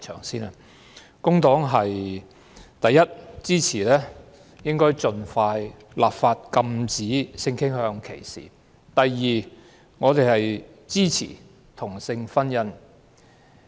第一，工黨支持盡快立法禁止性傾向歧視；第二，我們支持同性婚姻。